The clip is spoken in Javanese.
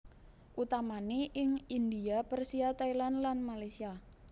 Utamane ing India Persia Thailand lan Malaysia